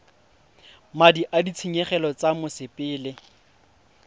madi a ditshenyegelo tsa mosepele